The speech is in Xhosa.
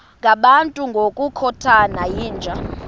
ngabantu ngokukhothana yinja